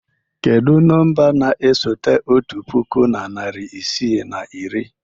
Kedu nọmba na-esote otu puku na narị isii na iri?